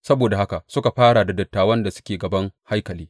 Saboda haka suka fara da dattawan da suke gaban haikali.